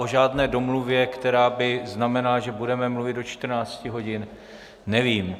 O žádné domluvě, která by znamenala, že budeme mluvit do 14 hodin, nevím.